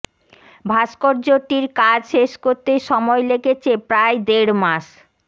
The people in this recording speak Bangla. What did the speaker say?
ভাস্কর্যটির কাজ শেষ করতে সময় লেগেছে প্রায় দেড় মাস